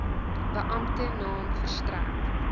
beampte naam verstrek